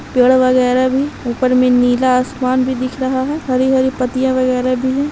-- पेड़ वेगेरा भी ऊपर में नीला आसमान भी दिख रहा है हरी हरी पत्तियां वगैरा भी हैं ।